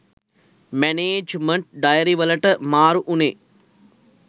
management diary වලට මාරු උනේ